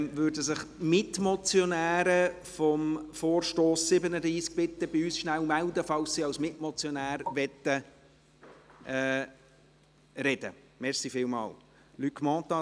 Würden sich die Mitmotionäre des Vorstosses 37 bitte rasch bei uns melden, falls sie als Mitmotionäre sprechen möchten?